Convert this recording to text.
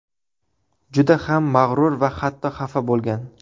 Juda ham mag‘rur va hatto xafa bo‘lgan.